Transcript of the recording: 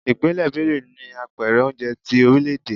Ìpínlẹ̀ Benue ni Apẹ̀rẹ̀ oúnjẹ tí orílè-èdè.